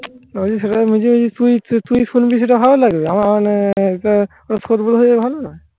তুই শুনবি সেটা ভালো লাগে? আমার মানে ভালো না? সারাজীবন কিছু শুনবি? কি কি?